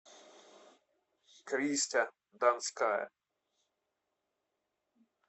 кристя донская